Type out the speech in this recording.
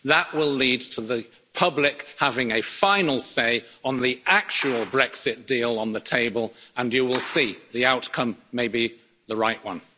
That will lead to the public having a final say on the actual Brexit deal on the table and you will see the outcome may be the right one.